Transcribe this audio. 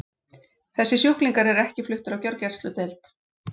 Þessir sjúklingar eru ekki fluttir á gjörgæsludeild.